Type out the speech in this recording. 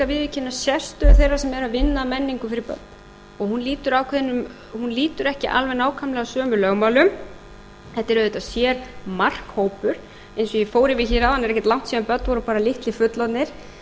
viðurkenna sérstöðu þeirra sem eiga að vinna að menningu fyrir börn og hún lýtur ekki alveg nákvæmlega sömu lögmálum þetta er auðvitað sérmarkhópur eins og ég fór yfir hér áðan er ekki langt síðan að börn voru bara litlir fullorðnir